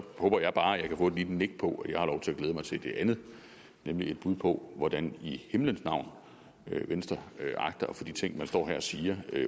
håber jeg bare at jeg kan få et lille nik på at jeg har lov til at glæde mig til det andet nemlig et bud på hvordan i himlens navn venstre agter at få de ting man står her og siger